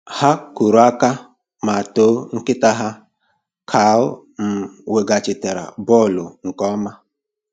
Ha kụrụ aka ma too nkịta ha ka o um weghachitara bọọlụ nke ọma.